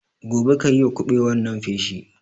Gobe kayiwa kuɓewar nan feshi